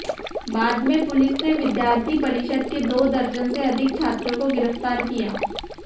बाद में पुलिस ने विद्यार्थी परिषद के दो दर्जन से अधिक छात्रों को गिरफ्तार किया